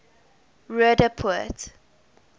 roodepoort